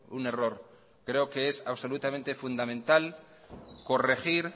un error creo que es absolutamente fundamental corregir